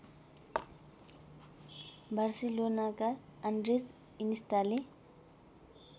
बार्सिलोनाका Andres इनिस्टाले